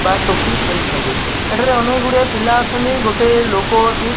ବା ଟୋପି ପିନ୍ଧିଛନ୍ତି ଏଠାରେ ଅନେଗୁଡିଏ ପିଲା ଅଛନ୍ତି ଗୋଟେ ଲୋକ ଅଛି --